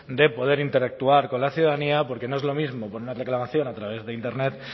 de poder interactuar con la ciudadanía porque no es lo mismo poner una reclamación a través de internet